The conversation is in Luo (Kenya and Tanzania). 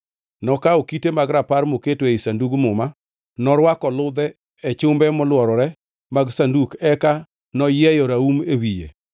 Nokawo Kite mag Rapar moketo ei Sanduk Muma; norwako ludhe e chumbe molworore mag Sanduk eka noyieyo raum e wiye.